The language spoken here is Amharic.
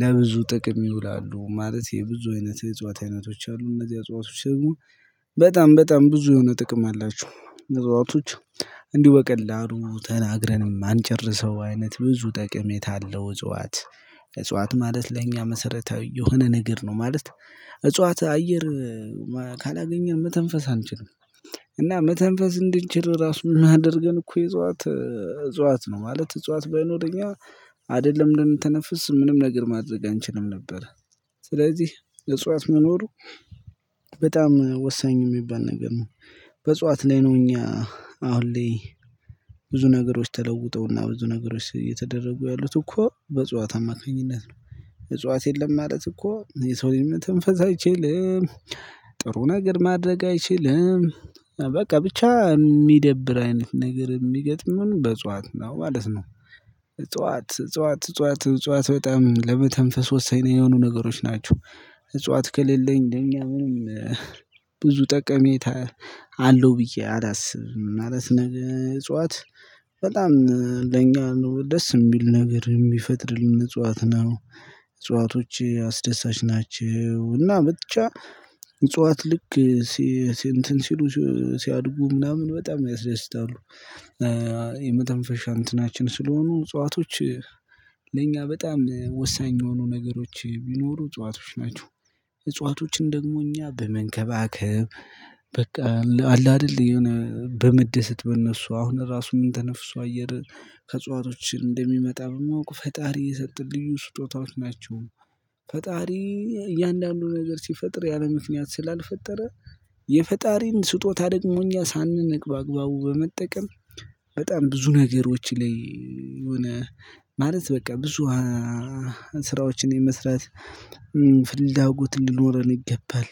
ለብዙ ጥቅም ይውላሉ ማለት የብዙ አይነት የእጽዋት አይነቶች አሉ እነዚያ እጽዋቶች ደግሞ በጣም በጣም ብዙ የሆነ ጥቅም አላቸው እጽዋቶች። እንዲሁ በቀላሉ ተናግረን የማንጨርሰው አይነት ብዙ ጥቀሜታ አለው እጽዋት። እጽዋት ማለት ለእኛ መሰረታዊ የሆነ ነገር ነው ማለት። እጽዋት አየር ካላገኘን መተንፈስ አንችልም። እና መተንፈስ እንድንችል ራሱ የሚያደርገን እኮ የእጽዋት እጽዋት ነው። ማለት እጽዋት ባይኖር እኛ አይደለም ልንተነፍስ ምንም ነገር ማድረግ አንችልም ነበር። ስለዚህ እጽዋት መኖሩ በጣም ወሳኝ የሚባል ነገር ነው። በእጽዋት ላይ ነው እኛ አሁን ላይ ብዙ ነገሮች ተለውጠው እና ብዙ ነገሮች እየተደረጉ ያሉት እኮ በእጽዋት አማካኝነት ነው። እጽዋት የለም ማለት እኮ የሰው ልጅ መተንፈስ አይችልም። ጥሩ ነገር ማድረግ አይችልም። በቃ ብቻ የሚደብር አይነት ነገር የሚገጥመን በእጽዋት ነው ማለት ነው። እጽዋት እጽዋት እጽዋት እጽዋት በጣም ለመተንፈስ ወሳኝ የሆኑ ነገሮች ናቸው። እጽዋት ከሌለኝ ለእኛ ምንም ብዙ ጠቀሜታ አለው ብዬ አላስብም። ማለት ነገር እጽዋት በጣም ለኛ ነው ደስ የሚል ነገር የሚፈጥርልን እጽዋት ነው። እጽዋቶች አስደሳች ናቸው እና ብቻ እጽዋት ልክ እንትን ሲሉ ሲያድጉ ምናምን በጣም ያስደስታሉ። የመተንፈሻ እንትናችን ስለሆኑ እንጽዋቶች ለእኛ በጣም ወሳኝ የሆኑ ነገሮች ቢኖሩ እጽዋቶች ናቸው። እጽዋቶችን ደግሞ እኛ በመንከባከብ በቃ አለ አይደል የሆነ በመደሰት በእነሱ አሁን ራሱ ምንተነፍሰው አየር ከእጽዋቶች እንደሚመጣ በማወቅ ፈጣሪ የሰጠን ልዩ ስጦታዎች ናቸው። ፈጣሪ እያንዳንዱ ነገር ሲፈጥር ያለምክንያት ስላልፈጠረ የፈጣሪን ስጦታ ደግሞ እኛ ሳንንቅ በአግባቡ በመጠቀም በጣም ብዙ ነገሮች ላይ የሆነ ማለት በቃ ብዙ ስራዎችን የመስራት ፍላጎት ሊኖረን ይገባል